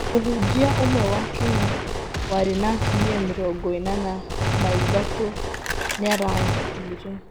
Mũhunjia ũmwe wa Kenya warĩ na atumia Mĩrongo ĩnana na ĩthatũ niarakuire